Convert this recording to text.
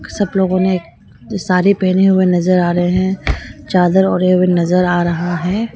सब लोगों ने साड़ी पहने हुए नजर आ रहे हैं चादर ओढ़े हुए नजर आ रहे हैं।